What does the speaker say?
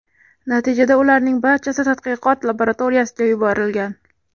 Natijada ularning barchasi tadqiqot laboratoriyasiga yuborilgan.